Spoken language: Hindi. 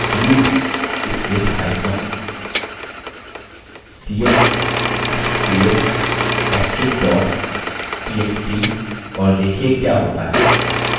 du spacehyphen ch space * astrix dot txt और देखिये क्या होता है